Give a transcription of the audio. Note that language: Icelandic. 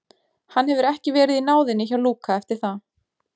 Hann hefur ekki verið í náðinni hjá Lúka eftir það.